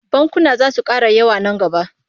Bankuna zasu kara yawa nan gaba